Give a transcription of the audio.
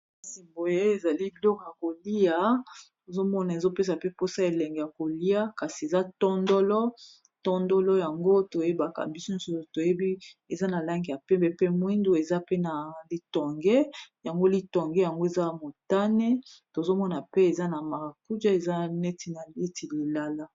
Kasi boye ezali biloko ya kolia tozomona ezopesa pe mposa elenge ya kolia kasi eza tondolo tondolo yango toyebaka biso nyoso toyebi eza na lange ya pembe pe mwindu eza pe na litonge yango litonge yango eza motane tozomona pe eza na marakuje eza neti lilala.